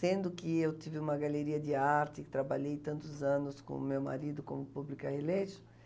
Sendo que eu tive uma galeria de arte, trabalhei tantos anos com o meu marido como publica,